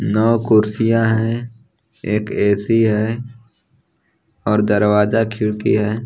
नव कुर्सियां है एक ए_सी है और दरवाजा खिड़की है।